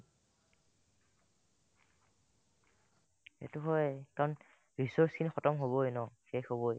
সেটো হয় কাৰণ resource খিনি khatamহ'বয়ে ন শেষ হ'বয়ে